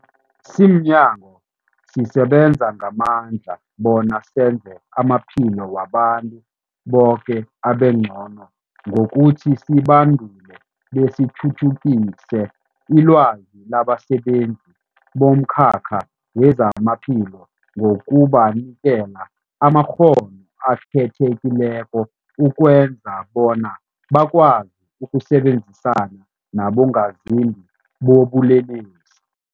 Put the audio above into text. Simnyango, sisebenza ngamandla bona senze amaphilo wabantu boke abengcono ngokuthi sibandule besithuthukise ilwazi labasebenzi bomkhakha wezamaphilo ngokubanikela amakghono akhethekileko ukwenzela bona bakwazi ukusebenzisana nabongazimbi bobulelesi.